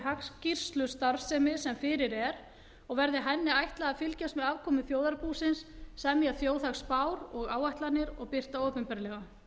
hagskýrslustarfsemi sem fyrir er og verði henni ætlað að fylgjast með afkomu þjóðarbúsins semja þjóðhagsspár og áætlanir og birta opinberlega